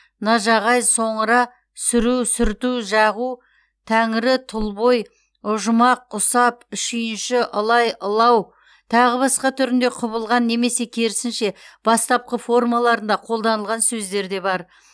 нажағай соңра сүру сүрту жағу тәңрі тұл бой ұжымақ ұсап шүйінші ылай ылау тағы басқа түрінде құбылған немесе керісінше бастапқы формаларында қолданылған сөздер де бар